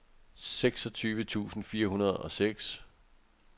seksogtyve tusind fire hundrede og seks